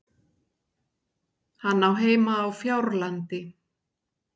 Hann á heima á Fjárlandi.